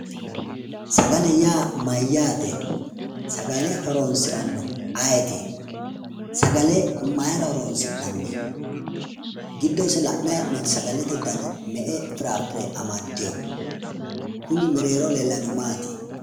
Sagale yaa mayyaate? Sagale horonsirannohu ayeeti? Sagale mayira horonsi'nanni? Giddose la'nani hee'noonni dani me''e dana anaddino? Kuni mereeroho leellannohu Maati?